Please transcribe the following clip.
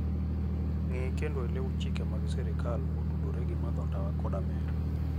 Ng'e kendo iluw chike mag sirkal motudore gi madho ndawa koda mer.